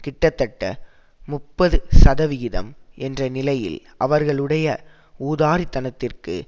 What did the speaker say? கிட்டத்தட்ட முப்பது சதவிகிதம் என்ற நிலையில்அவர்களுடைய ஊதாரித்தனத்திற்கு